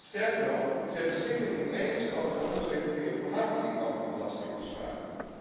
Sterker nog, zij beschikken niet eens over de onderliggende informatie over die belastingafspraken.